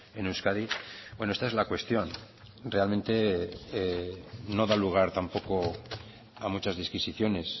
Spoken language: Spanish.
en euskadi bueno esta es la cuestión realmente no da lugar tampoco a muchas disquisiciones